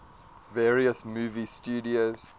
various movie studios